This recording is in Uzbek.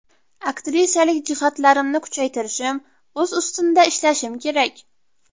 Aktrisalik jihatlarimni kuchaytirishim, o‘z ustimda ishlashim kerak.